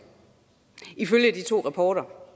ifølge de to rapporter